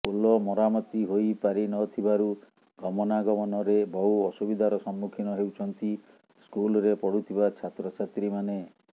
ପୋଲ ମରାମତି ହୋଇ ପାରିନଥିବାରୁ ଗମନାଗମନରେ ବହୁ ଅସୁବିଧାର ସମ୍ମୁଖୀନ ହେଉଛନ୍ତି ସ୍କୁଲରେ ପଢୁଥିବା ଛାତ୍ରଛାତ୍ରୀମାନେ